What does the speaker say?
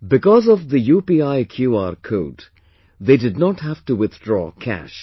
Because of the UPI QR code, they did not have to withdraw cash